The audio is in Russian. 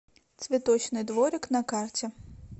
цветочный дворик на карте